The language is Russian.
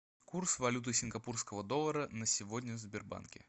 курс валюты сингапурского доллара на сегодня в сбербанке